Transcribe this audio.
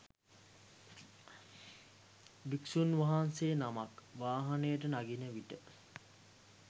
භික්ෂූන් වහන්සේ නමක් වාහනයට නගිනවිට